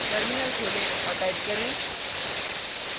terminal खोलें और type करें